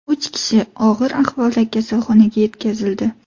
Uch kishi og‘ir ahvolda kasalxonaga yetkazildi.